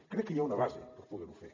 crec que hi ha una base per poder ho fer